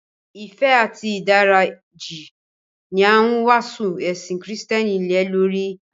Ìfẹ́ àti ìdáríjì ní a ń wásù ẹ̀sìn Kristián lèlórí.